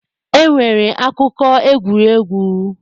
E nwere akụkọ egwuregwu.